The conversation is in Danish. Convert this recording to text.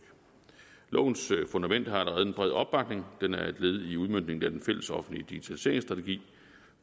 lovens fundament har allerede en bred opbakning den er et led i udmøntningen af den fællesoffentlige digitaliseringsstrategi